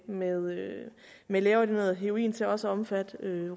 med med lægeordineret heroin til også at omfatte